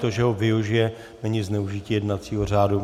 To, že ho využije, není zneužití jednacího řádu.